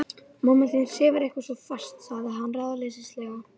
Mamma þín sefur eitthvað svo fast sagði hann ráðleysislega.